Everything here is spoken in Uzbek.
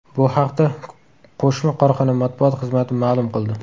Bu haqda qo‘shma korxona matbuot xizmati ma’lum qildi .